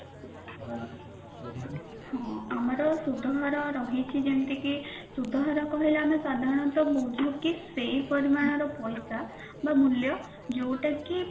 ହଁ ଆମର ସୁଧହାର ରହିଛି ଯେମତି କି ସୁଧ କହିଲେ ଆମେ ସାଧାରଣତଃ ବୁଝୁ କି ସେଇ ପରିମାଣ ର ପଇସା ବା ମୂଲ୍ୟ ଯୋଉଟା କି